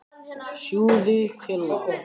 Þú ætlar þá að gera einsog ég sagði?